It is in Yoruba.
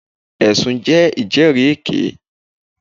Ẹ̀sùn ní ìjẹ́rìèké.